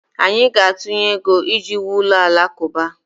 Anyị ga-atụnye ego iji wuo ụlọ alakụba